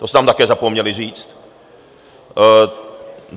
To jste nám také zapomněli říct.